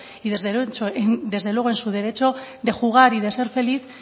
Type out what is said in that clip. y desde luego en su derecho de jugar y de ser feliz